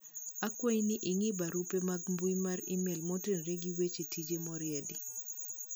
akwayi ni ing'i barupe mag mbui mar email motenore gi weche tije moriendi